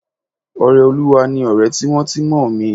Ọrẹolúwa ni ọ̀rẹ́ tímọ́tímọ́ mi